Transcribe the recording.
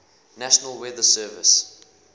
national weather service